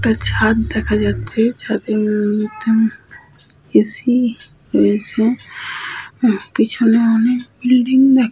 একটা ছাদ দেখা যাচ্ছে। ছাদের মধ্যে এ. সি. রয়েছে। পেছনে অনেক ব্লিডিং দেখা --